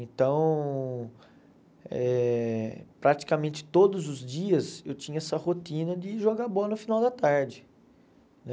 Então, eh praticamente todos os dias eu tinha essa rotina de jogar bola no final da tarde, né?